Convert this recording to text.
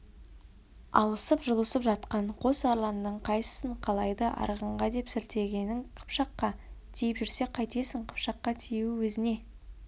алысып-жұлысып жатқан қос арланның қайсысын қалайды арғынға деп сілтегенің қыпшаққа тиіп жүрсе қайтесің қыпшаққа тиюі өзіне